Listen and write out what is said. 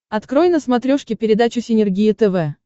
открой на смотрешке передачу синергия тв